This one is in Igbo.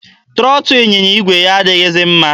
Trọtụ ịnyịnya igwe ya adịghịzi mma.